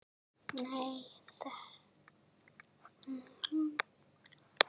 Sonur Elínar er Pétur Þór.